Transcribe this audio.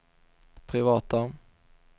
privata